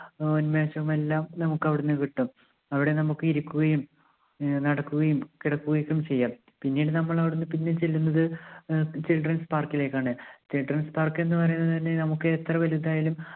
ആഹ് ഉന്മേഷവും എല്ലാം നമുക്ക് അവിടുന്ന് കിട്ടും. അവിടെ നമുക്ക് ഇരിക്കുകയും അഹ് നടക്കുകയും കിടക്കുകയും ഒക്കെ ചെയ്യാം. പിന്നീട് നമ്മൾ അവിടുന്ന് പിന്നെ ചൊല്ലുന്നത് ആഹ് childrens park ലേക്കാണ്. childrens park ന്ന് പറയുന്നത് തന്നെ നമുക്ക് എത്ര വലുതായാലും